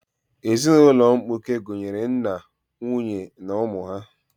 Ezinaụlọ mkpuke gụnyere nna, nwunye na ụmụ ha.